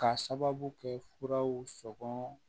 K'a sababu kɛ furaw sɔngɔ